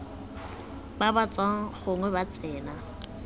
ba tswang gongwe ba tsena